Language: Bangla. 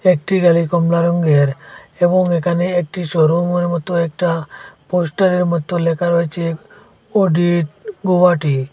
একটি গাড়ি কমলা রঙ্গের এবং এখানে একটি শোরুমের মত একটা পোস্টারের মত লেখা রয়েছে অডিট গৌহাটি।